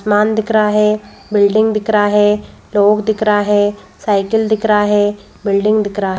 मान दिख रहा है बिल्डिंग दिख रहा है लोग दिख रहा है साइकिल दिख रहा है बिल्डिंग दिख रहा है --